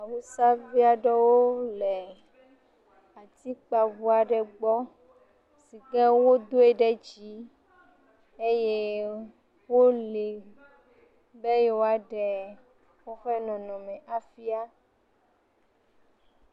Awusavi aɖewo le atike ŋu aɖe gbɔ si kewo doe ɖe dzi eyi ke wo be yewoa ɖe yewo ƒe nɔnɔ fia